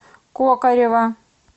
кокорева